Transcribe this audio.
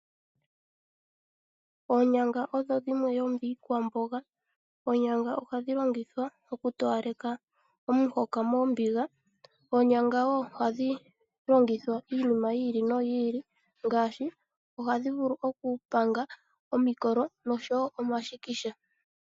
Oonyanga odho dhimwe dhomiikwamboga. Oonyanga ohadhi longithwa oku towaleka omuhoka moombiga. Oonyanga wo ohadhi longithwa iinima yi ili noyi ili ngaashi ohadhi vulu oku panga omikolo noshowo omashikisha.